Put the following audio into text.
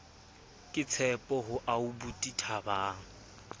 ke tshepo ho aubuti thabang